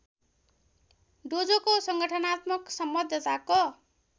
डोजोको संगठनात्मक संबद्धताको